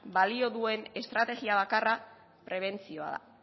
balio duen estrategia bakarra prebentzioa da